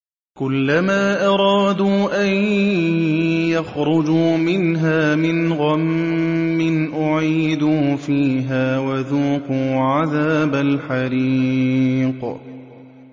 كُلَّمَا أَرَادُوا أَن يَخْرُجُوا مِنْهَا مِنْ غَمٍّ أُعِيدُوا فِيهَا وَذُوقُوا عَذَابَ الْحَرِيقِ